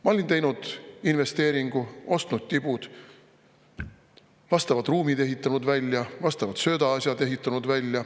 Ma olin teinud investeeringu: ostnud tibud, vastavad ruumid välja ehitanud, vastavad söödaasjad välja ehitanud.